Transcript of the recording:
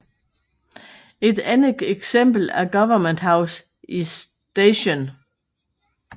Et andet eksempel er Government House i St